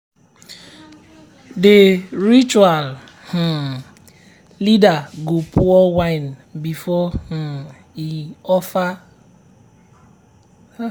the ritual um leader go pour wine before um e offer roasted um maize and salt to the ancestors.